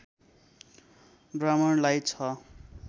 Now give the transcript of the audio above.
ब्राह्मणलाई छ